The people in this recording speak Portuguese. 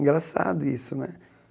Engraçado isso, né?